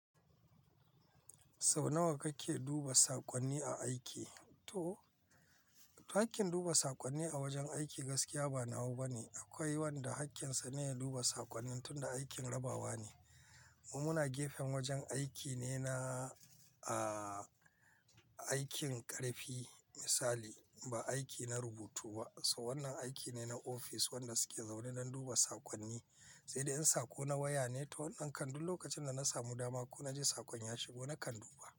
Sau nawa kake duba saƙonni a aiki? To, hakkin duba saƙonni a wajen aiki gaskiya ba nawa bane. Akwai wanda hakkinsa ne ya duba saƙonnin tunda aikin rabawa ne. Mu muna gefen wajen aiki ne naaa, aikin ƙarfi misali, ba aiki na rubutu ba. So wannan aiki ne na ofis wanda suke zaune don duba saƙonni, sai dai in sako na waya ne to wannan kam duk lokacin da na samu dama ko na ji saƙon ya shigo na kan duba.